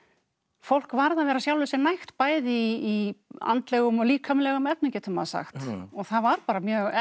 fólk varð að vera sjálfu sér nægt bæði í andlegum og líkamlegum efnum getur maður sagt og það var bara mjög